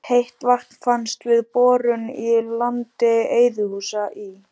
Heitt vatn fannst við borun í landi Eiðhúsa í